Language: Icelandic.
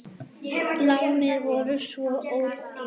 Lánin voru svo ódýr.